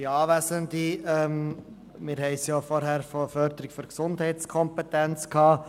Wir haben vorhin über die Förderung der Gesundheitskompetenz gesprochen.